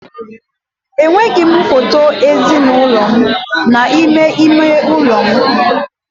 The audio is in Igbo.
Enweghị m foto ezinụlọ m n'ime ime ụlọ m.